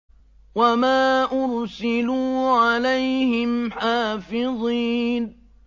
وَمَا أُرْسِلُوا عَلَيْهِمْ حَافِظِينَ